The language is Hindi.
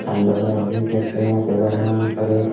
हेलो गाइस देख सकते हैं यहाँ पे--